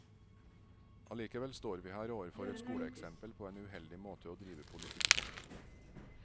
Allikevel står vi her overfor et skoleeksempel på en uheldig måte å drive politikk på.